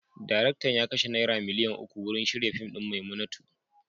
Daraktan ya kashe naira miliyan uku wurin shirya fim din "Maimunatu".